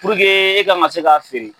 e k'an ka se ka feere.